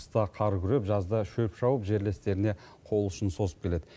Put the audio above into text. қыста қар күреп жазда шөп шауып жерлестеріне қол ұшын созып келеді